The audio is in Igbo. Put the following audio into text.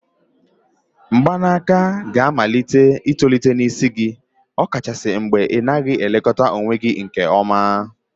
mgbanaka ga amalite itolite n'isi gị, ọkachasị mgbe ị naghị elekọta onwe gị nke ọma